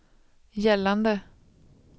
gällande